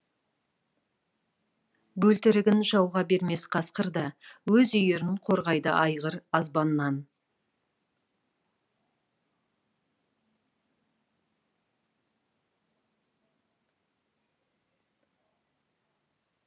бөлтірігін жауға бермес қасқырда өз үйірін қорғайды айғыр азбаннан